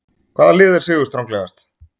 Hvaða lið er sigurstranglegast?